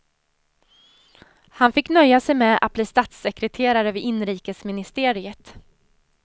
Han fick nöja sig med att bli statssekreterare vid inrikesministeriet.